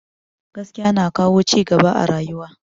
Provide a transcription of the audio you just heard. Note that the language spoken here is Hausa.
Gaskiya na kawo cigaba a rayuwa